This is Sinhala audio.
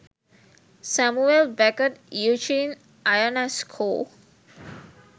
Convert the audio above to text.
Samuel Beckett Eugene Ionesco